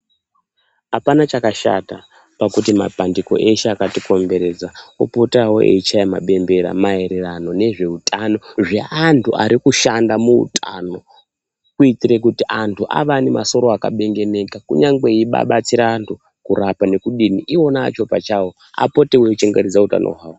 Apana chakashata pakuti mapandiko eshe akatikomberedza achaye mabembera maererano nezveutano zveantu arikushanda muutano kuitire kuti antu ange aine masoro akabengeneka kunyangwe eida kudetsera antu kuarapa iwona acho pachawo apotewo eichengetedze utano hwavo.